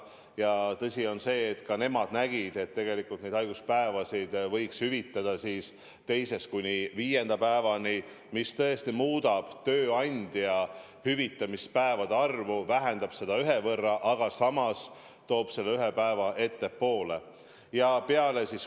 Ja tõsi on see, et ka nemad nägid, et haiguspäevasid võiks hüvitada 2.–5. päevani, mis tõesti muudab tööandja hüvitatavate päevade arvu, vähendab seda ühe võrra, aga samas toob hüvituse ühe päeva võrra ettepoole.